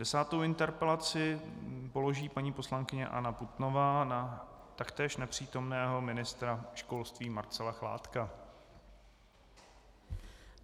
Desátou interpelaci položí paní poslankyně Anna Putnová na taktéž nepřítomného ministra školství Marcela Chládka.